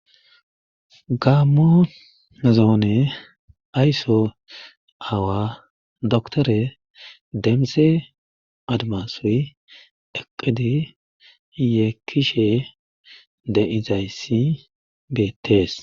Gamo zoone aysso awa doktore demse admasoy eqidi ye kishe de izayssi beettees